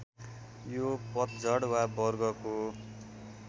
यो पतझड वा वर्गको